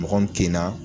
Mɔgɔ min kin na